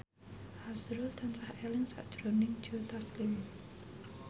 azrul tansah eling sakjroning Joe Taslim